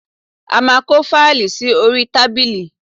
A máa kó fáìlì sí orí tábìlì